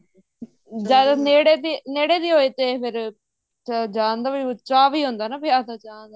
ਨੇੜੇ ਦੀ ਨੇੜੇ ਦੀ ਹੋਏ ਤੇ ਫ਼ੇਰ ਜਾਣ ਦਾ ਚਾ ਵੀ ਹੁੰਦਾ ਵਿਆਹ ਦਾ ਜਾਣ ਦਾ